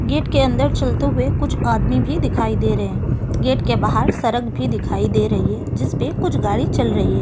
Gate के अन्दर चलते हुए कुछ आदमी भी दिखाई दे रहे है गेट के बाहर सड़क भी दिखाई दे रही है जिसपे कुछ गाड़ी चल रही है।